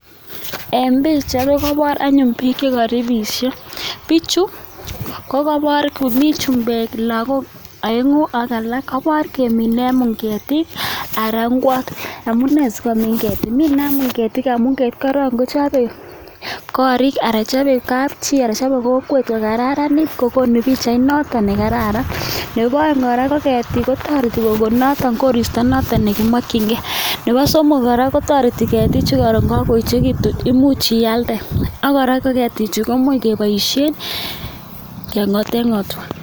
En bichait nikobor anyun bik chiko ribisho bik chiko kokobor komiten chumbek look aengu ak alak kabor komine ketik anan inguat amunee sikomin ketik mine amun ketik korong kochaben korik ana chabe Kap chi kochaben kokwet kokararanit kokonu bichait noton Karan Nebo oeng Kara kotareti koristo nation negimokinkei Nebo somok ko toreti ketik chuton nikoron koechekitun imuch iyalde ak kora ketik chuton koimuch keiboishen kengoten ngotwa